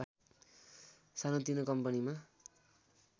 सानोतिनो कम्पनीमा